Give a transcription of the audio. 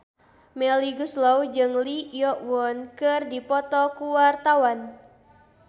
Melly Goeslaw jeung Lee Yo Won keur dipoto ku wartawan